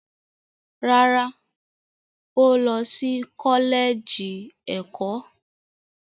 Rárá, ó lọ sí kọ́lẹ́ẹ̀jì ẹ̀kọ́.